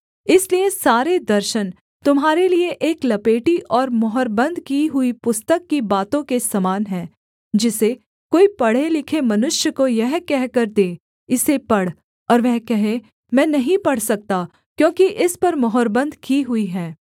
इसलिए सारे दर्शन तुम्हारे लिये एक लपेटी और मुहरबन्द की हुई पुस्तक की बातों के समान हैं जिसे कोई पढ़ेलिखे मनुष्य को यह कहकर दे इसे पढ़ और वह कहे मैं नहीं पढ़ सकता क्योंकि इस पर मुहरबन्द की हुई है